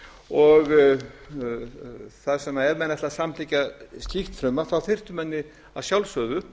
og ef menn ætla að samþykkja slíkt frumvarp þyrftu menn að sjálfsögðu